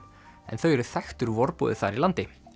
en þau eru þekktur vorboði þar í landi